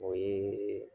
O ye